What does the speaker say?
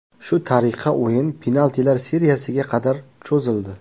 Shu tariqa o‘yin penaltilar seriyasiga qadar cho‘zildi.